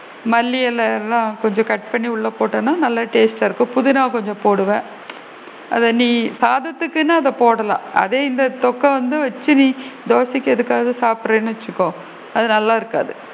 மல்லி இலைலா கொஞ்சம் cut பண்ணி உள்ள போட்டேன்னா நல்லா taste டா இருக்கும் புதினா கொஞ்சம் போடுவேன் அத நீ சாதத்துக்குளா நீ அத போடலாம் அதே இந்த தொக்க வந்து வச்சு நீ தோசைக்கு எதுக்காவது சாப்பிடுறேன்னு வச்சுக்கோ அது நல்லா இருக்காது.